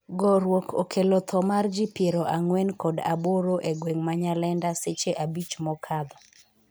gorruok okello tho mar ji piero ang'wen kod aboro e gweng' ma Nyalenda seche abich mokadho